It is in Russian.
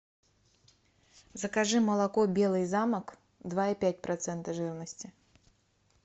закажи молоко белый замок два и пять процента жирности